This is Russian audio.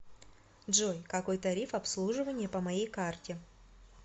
джой какой тариф обслуживание по моей карте